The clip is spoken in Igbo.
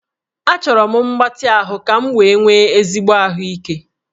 Achọrọ m mgbatị ahụ ka m wee nwee ezigbo ahụike